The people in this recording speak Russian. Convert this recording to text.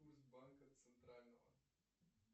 курс банка центрального